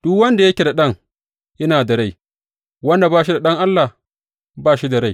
Duk wanda yake da Ɗan, yana da rai; wanda kuwa ba shi da Ɗan Allah, ba shi da rai.